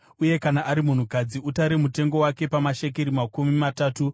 uye kana ari munhukadzi, utare mutengo wake pamashekeri makumi matatu .